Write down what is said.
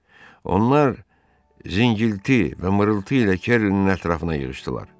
Onlar zingilti və mırıltı ilə Kerlinin ətrafına yığışdılar.